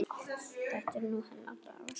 Þetta er nú hennar dagur.